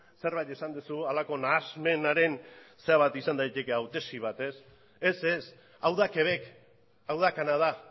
zerbait esan duzu halako nahasmenaren zera bat izan daiteke hau tesi bat ez ez hau da quebec hau da kanada